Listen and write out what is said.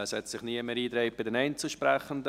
Es haben sich keine Einzelsprechenden eingetragen.